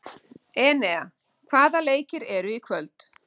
Enea, hvaða leikir eru í kvöld?